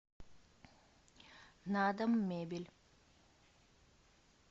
надоммебель